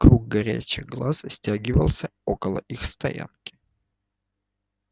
круг горящих глаз стягивался около их стоянки